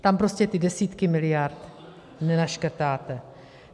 Tam prostě ty desítky miliard nenaškrtáte.